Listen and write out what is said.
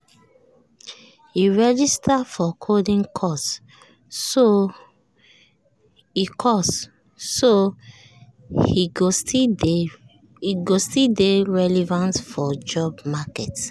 he register for coding course so he course so he go still dey relevant for job market.